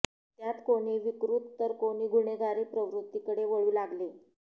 त्यात कोणी विकृत तर कोणी गुन्हेगारी प्रवृत्तीकडे वळू लागले